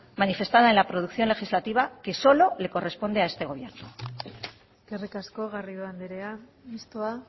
manifestada en la previsión legislativa que solo le corresponde a este gobierno eskerrik asko garrido anderea mistoa